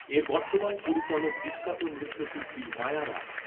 এর বর্তমান পরিচালক বিখ্যাত নৃত্যশিল্পী মায়া রাও।